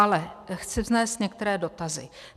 Ale chci vznést některé dotazy.